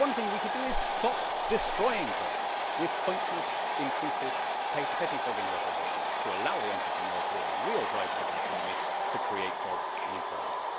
One thing we could do is stop destroying jobs with pointless, intrusive, pettifogging regulation, to allow the entrepreneurs, who are the real drivers of the economy, to create jobs and employment.